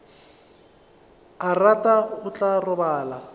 a rata o tla robala